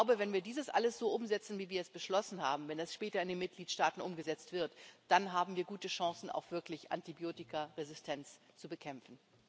Ich glaube, wenn wir dies alles so umsetzen, wie wir es beschlossen haben, wenn das später in den Mitgliedstaaten umgesetzt wird, dann haben wir gute Chancen, Antibiotikaresistenz auch wirklich zu bekämpfen.